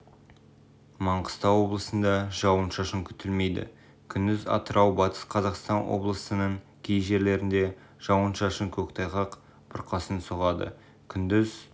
маңғыстау облысында жауын-шашын күтілмейді күндіз атырау батыс қзақастан облысының кей жерлерінде жауын-шашын көктайғақ бұрқасын соғады күндіз